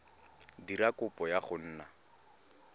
dira kopo ya go nna